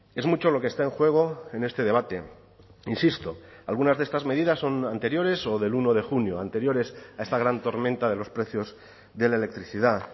es mucho lo que está en juego en este debate insisto algunas de estas medidas son anteriores o del uno de junio anteriores a esta gran tormenta de los precios de la electricidad